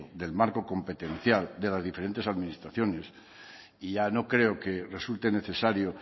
del marco competencial de las diferentes administraciones ya no creo que resulte necesario